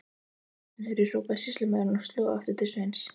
Aðra snöru, hrópaði sýslumaður og sló aftur til Sveins.